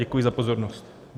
Děkuji za pozornost.